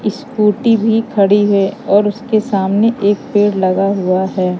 Scooty भी खड़ी है और उसके सामने एक पेड़ लगा हुआ है।